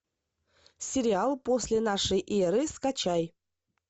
сериал после нашей эры скачай